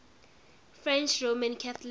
french roman catholics